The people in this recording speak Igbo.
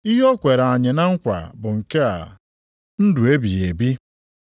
Ihe o kwere anyị na nkwa bụ nke a, ndụ ebighị ebi.